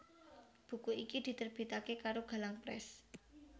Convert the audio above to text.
Buku iki diterbitake karo Galang Press